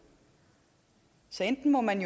så enten må man